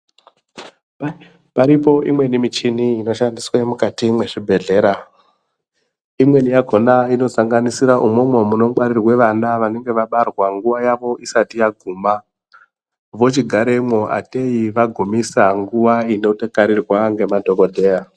Paripo imweni michini inoshandiswe mukati mwezvibhedhlera. Imweni yakona inosanganisira imwomwo munongwaririre vana vanonga vabarwa nguva yavo isati yaguma. Vochigaremwo atei vagumisa nguva inokarirwa ngemadhogodheya.